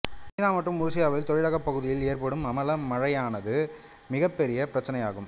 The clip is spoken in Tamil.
சீனா மற்றும் உருசியாவில் தொழிலகப் பகுதிகளில் ஏற்படும் அமல மழையானது மிகப்பெரிய பிரச்சனையாகும்